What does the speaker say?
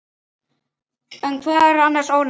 En hvað eru annars ónefni?